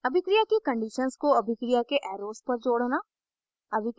अभिक्रिया की conditions को अभिक्रिया के arrows पर जोड़ना